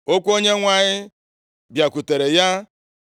Okwu Onyenwe anyị bịakwutere ya,